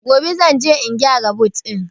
Gobe zan je in gyara but ɗin